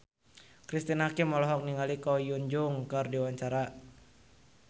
Cristine Hakim olohok ningali Ko Hyun Jung keur diwawancara